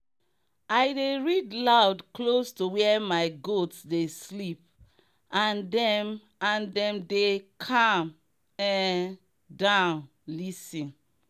i dey read loud close to where my goats dey sleep and dem and dem dey calm um down lis ten